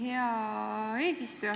Hea eesistuja!